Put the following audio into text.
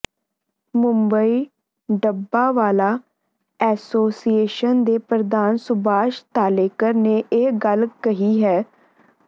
Mumbai dabbawala association ਦੇ ਪ੍ਰਧਾਨ ਸੁਭਾਸ਼ ਤਾਲੇਕਰ ਨੇ ਇਹ ਗੱਲ ਕਹੀ ਹੈ